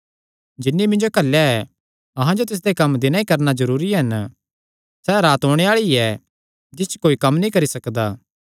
जिन्नी मिन्जो घल्लेया ऐ अहां जो तिसदे कम्म दिनैं ई करणा जरूरी हन सैह़ रात ओणे आल़ी ऐ जिस च कोई कम्म नीं करी सकदा